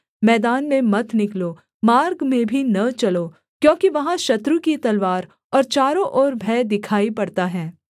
मैदान में मत निकलो मार्ग में भी न चलो क्योंकि वहाँ शत्रु की तलवार और चारों ओर भय दिखाई पड़ता है